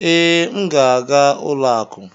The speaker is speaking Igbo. ee, m ga-aga ụlọ akụ.